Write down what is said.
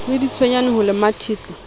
le ditswejane ho le mathisa